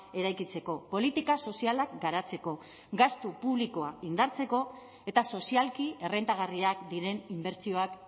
eraikitzeko politika sozialak garatzeko gastu publikoa indartzeko eta sozialki errentagarriak diren inbertsioak